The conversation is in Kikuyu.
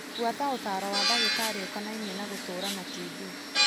Bũata ũtaro wa ndagĩtarĩ ũkonainie na gũtũra na TB.